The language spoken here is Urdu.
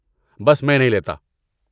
بس میں نہیں لیتا۔